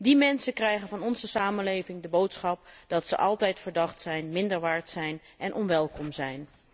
Die mensen krijgen van onze samenleving de boodschap dat zij altijd verdacht zijn, minder waard zijn en niet welkom zijn.